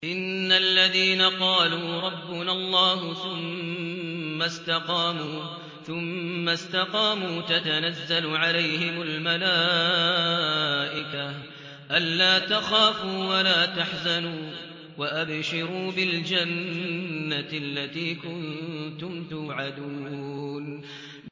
إِنَّ الَّذِينَ قَالُوا رَبُّنَا اللَّهُ ثُمَّ اسْتَقَامُوا تَتَنَزَّلُ عَلَيْهِمُ الْمَلَائِكَةُ أَلَّا تَخَافُوا وَلَا تَحْزَنُوا وَأَبْشِرُوا بِالْجَنَّةِ الَّتِي كُنتُمْ تُوعَدُونَ